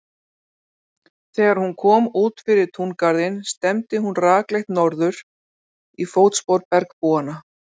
Þegar hún kom út fyrir túngarðinn stefndi hún rakleitt í norður, í fótspor bergbúanna.